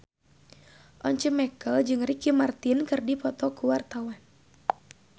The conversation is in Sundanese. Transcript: Once Mekel jeung Ricky Martin keur dipoto ku wartawan